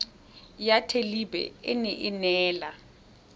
ya thelebi ene e neela